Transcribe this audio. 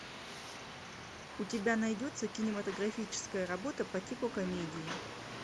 у тебя найдется кинематографическая работа по типу комедии